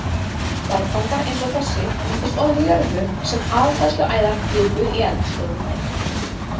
Berggangar eins og þessi myndast ofan í jörðu sem aðfærsluæðar kviku í eldstöðvum.